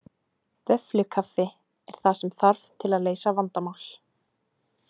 Vöfflukaffi er það sem þarf til að leysa vandamál